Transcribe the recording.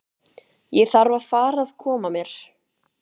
Ég þarf að fara að koma mér.